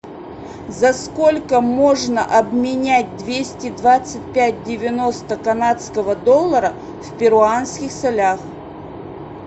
за сколько можно обменять двести двадцать пять девяносто канадского доллара в перуанских солях